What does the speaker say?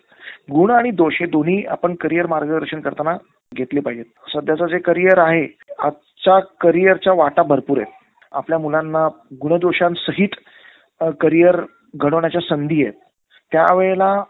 Bye.